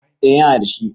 eh yana da shi